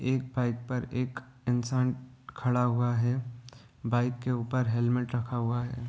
एक पाइप पर एक इंसान खड़ा हुआ है बाइक के ऊपर हेलमेट रखा हुआ है ।